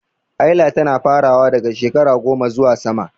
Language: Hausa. Haila tana farawa daga shekara 10 zuwa sama.